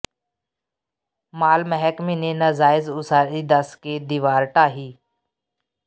ਮਾਲ ਮਹਿਕਮੇ ਨੇ ਨਾਜਾਇਜ਼ ਉਸਾਰੀ ਦੱਸ ਕੇ ਦੀਵਾਰ ਢਾਹੀ